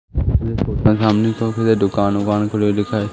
छोटा सामने शॉप है दुकान वुकान खुली दिखाई--